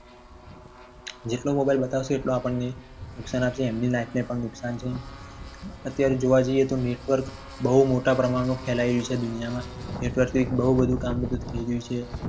જેટલો mobile બતાવશો એટલું આપણને નુકસાન આવશે. એમની life ને પણ નુકસાન છે. અત્યારે જોવા જઈએ. તો network બહુ મોટા પ્રમાણમાં ફેલાઈ રહ્યું છે. દુનિયામાં network પર બહુ બધું કામ થઈ રહ્યું છે.